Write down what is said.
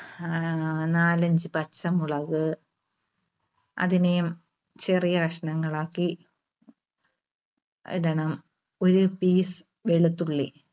നാലഞ്ച് പച്ചമുളക് അതിനെയും ചെറിയ കഷണങ്ങൾ ആക്കി ഇടണം. ഒരു piece വെളുത്തുള്ളി